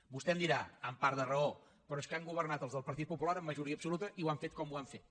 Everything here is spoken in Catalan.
vostè em dirà amb part de raó però és que han governat els del partit popular amb majoria absoluta i ho han fet com ho han fet